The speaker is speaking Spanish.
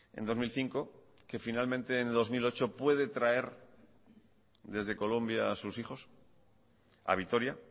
en dos mil cinco que finalmente en dos mil ocho puede traer desde colombia a sus hijos a vitoria